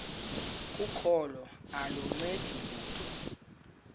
kokholo aluncedi lutho